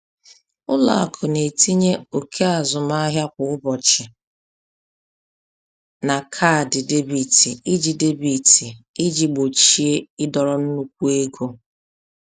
Ụlọ akụ na-etinye oke azụmahịa kwa ụbọchị na kaadị debit iji debit iji gbochie ịdọrọ nnukwu ego.